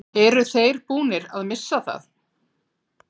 Eru þeir búnir að missa það?